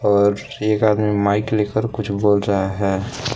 और एक आदमी माइक लेकर कुछ बोल रहा है।